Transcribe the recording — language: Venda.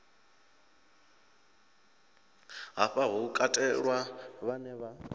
hafha hu katelwa vhe vha